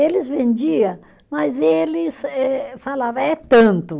Eles vendia, mas eles eh falava, é tanto.